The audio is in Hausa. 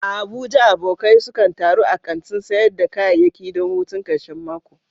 A Abuja, abokai sukan taru a kantin sayar da kayayyaki don hutun karshen mako.